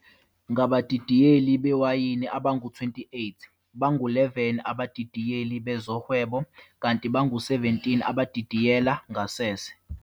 Ngabadidiyeli bewayini abangu 28, bangu 11 abadidiyeli bezohwebo kanti bangu 17 abadidiyela ngasese.